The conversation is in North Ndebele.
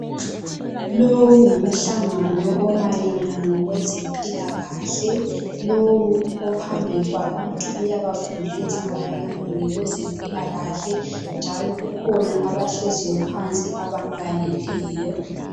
Lowo ngumhlangano omayelana ngokwezempila kahle, lowu ophambi kwabantu uyabafundisa mayelana ngokwezempila kahle njalo kukhona abahlezi phansi abamlaleleyo.